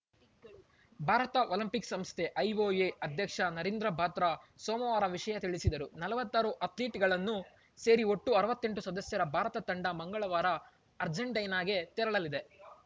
Bharat olympic ಸಂಸ್ಥೆ IOA ಅಧ್ಯಕ್ಷ ನರೀಂದರ್‌ ಬಾತ್ರಾ ಸೋಮವಾರ ವಿಷಯ ತಿಳಿಸಿದರು ನಲವತ್ತಾರು ಅಥ್ಲೀಟ್‌ಗಳು ಸೇರಿ ಒಟ್ಟು ಅರವತ್ತೆಂಟು ಸದಸ್ಯರ ಭಾರತ ತಂಡ ಮಂಗಳವಾರ ಅರ್ಜೆಂಟೀನಾಗೆ ತೆರಳಲಿದೆ